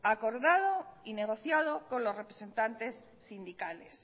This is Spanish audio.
acordado y negociado con los representantes sindicales